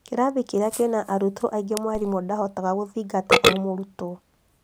Kĩrathi kĩrĩa kĩna arutwo aingĩ mwarimũ ndangĩhota gũthingata o mũrutwo